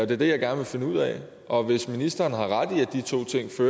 det er det jeg gerne vil finde ud af og hvis ministeren har ret i